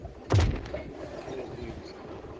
okwindla